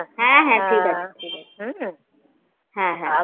হ্যাঁ ঠিক আছে হম হ্যাঁ হ্যাঁ